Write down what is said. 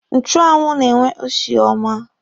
Nchụanwụ na-enwe usi ọma.